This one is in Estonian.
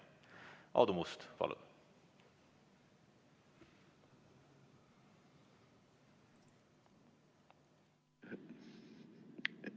Aadu Must, palun!